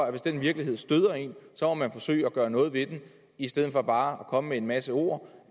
at hvis den virkelighed støder en må man forsøge at gøre noget ved det i stedet for bare at komme med en masse ord